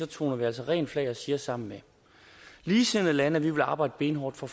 toner vi altså rent flag og siger sammen med ligesindede lande at vi vil arbejde benhårdt for